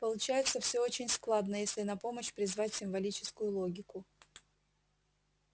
получается все очень складно если на помощь призвать символическую логику